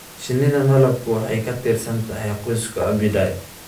Shinnida malabku waxay ka tirsan tahay qoyska Apidae.